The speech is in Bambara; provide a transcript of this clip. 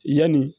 Yanni